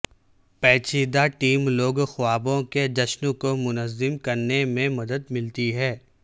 پیچیدہ ٹیم لوگ خوابوں کے جشن کو منظم کرنے میں مدد ملتی ہے